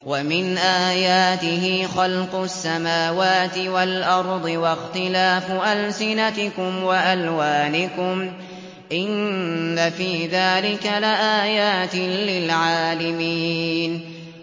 وَمِنْ آيَاتِهِ خَلْقُ السَّمَاوَاتِ وَالْأَرْضِ وَاخْتِلَافُ أَلْسِنَتِكُمْ وَأَلْوَانِكُمْ ۚ إِنَّ فِي ذَٰلِكَ لَآيَاتٍ لِّلْعَالِمِينَ